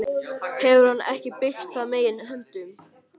Hefur hann ekki byggt það með eigin höndum?